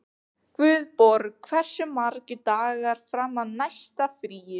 Guðborg, hversu margir dagar fram að næsta fríi?